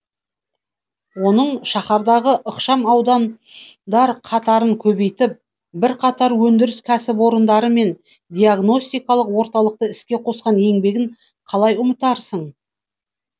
оның шаһардағы ықшам аудандар қатарын көбейтіп бірқатар өндіріс кәсіпорындары мен диагностикалық орталықты іске қосқан еңбегін қалай ұмытарсың